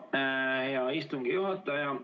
Aitüma, hea istungi juhataja!